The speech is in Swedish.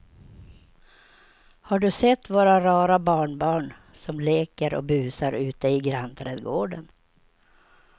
Har du sett våra rara barnbarn som leker och busar ute i grannträdgården!